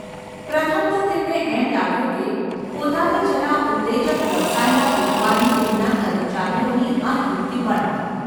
પ્રથમ તો તેમને એમ લાગ્યું કે પોતાને જરા ઉત્તેજક વ્યવસાયમાં રોકવાની તેમના કર્મચારીઓની આ યુક્તિ પણ હોય.